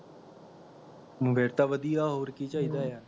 ਬੇਟਾ ਵਧੀਆ ਹੋਰ ਕੀ ਚਾਹੀਦਾ ਆ